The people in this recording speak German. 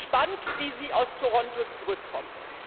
Ich bin gespannt, wie Sie aus Toronto zurückkommen.